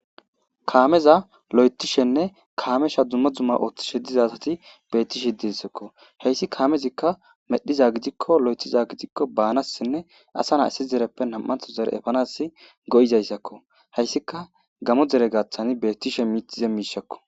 kaameza lo7etishenne kaamesha dumma dzumma ooththishe diza asati beettishe dissakko heyssi kaamezikka medhiza gidikko lo7etiza gidikko baanassinne asa naissi zereppe nam7antho zere efanas go7izayssakko heyssika gamo dere gaththani bettishe miitize miishakko